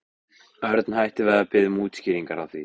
Örn hætti við að biðja um útskýringar á því.